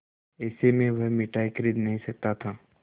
ऐसे में वह मिठाई खरीद नहीं सकता था